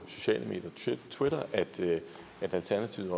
twitter at alternativet